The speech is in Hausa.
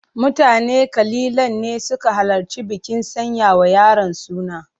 Mutane kalilan ne suka halarci bikin sanya wa yaron suna.